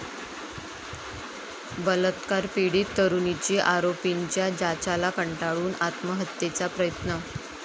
बलात्कार पीडित तरुणीची आरोपींच्या जाचाला कंटाळून आत्महत्येचा प्रयत्न